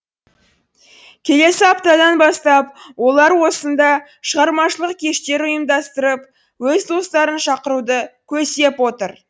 келесі аптадан бастап олар осында шығармашылық кештер ұйымдастырып өз достарын шақыруды көздеп отыр